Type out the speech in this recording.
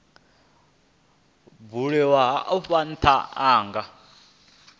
buliwaho afho ntha a nga